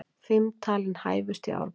Fimm talin hæfust í Árborg